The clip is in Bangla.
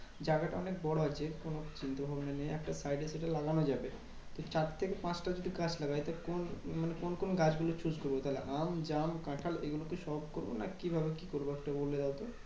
জায়গাটা অনেক বড় আছে কোনো চিন্তাভাবনা নেই একটা side এর দিকে লাগানো যাবে। তো চার থেকে পাঁচটা যদি গাছ লাগাই, তো কোন মানে কোন কোন গাছগুলো choose করবো? আম জাম কাঁঠাল এইগুলোতে সব করবো? না কিভাবে কি করবো? একটু বলে দাও তো?